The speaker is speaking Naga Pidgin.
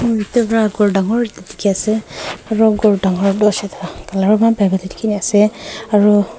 mui etu para ghor dangor ekta dikhi ase aru ghor dangor tu hoise toh colour eman bhal pra dikhi ase aru--